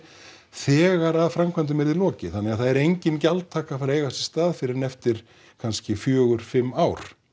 þegar framkvæmdum yrði lokið þannig að það yrði engin gjaldtaka að fara að eiga sér stað fyrr en eftir kannski fjóra fimm ár